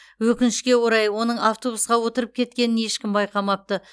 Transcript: өкінішке орай оның автобусқа отырып кеткенін ешкім байқамапты